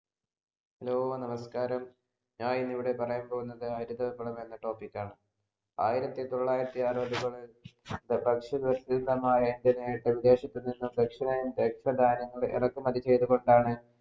hello നമസ്‌കാരം ഞാൻ ഇന്ന് ഇവിടെ പറയാൻ പോകുന്നത് ഹരിതവിപ്ലവം എന്ന topic ആണ് ആയിരത്തി തൊള്ളായിരത്തി അറുവതുകളിൽ ഭക്ഷ്യ വിദേശത്തുനിന്നും ഇറക്കുമതി ചെയ്‌തു കൊണ്ടാണ്